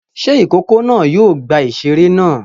Ṣé ìkókó náà yóò gba ìṣeré náà?